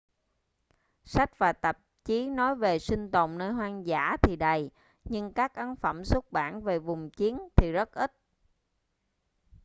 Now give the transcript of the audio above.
sách và tạp chí nói về sinh tồn nơi hoang dã thì đầy nhưng các ấn phẩm xuất bản về vùng chiến thì rất ít